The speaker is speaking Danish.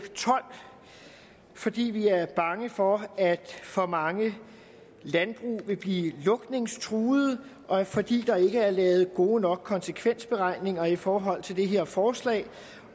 tolv fordi vi er bange for at for mange landbrug vil blive lukningstruede og fordi der ikke er lavet gode nok konsekvensberegninger i forhold til det her forslag